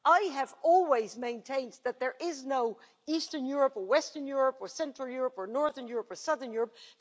I have always maintained that there is no eastern Europe or western Europe or central Europe or northern Europe or southern Europe...